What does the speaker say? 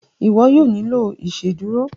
iwọ yóò nilo iṣeduro.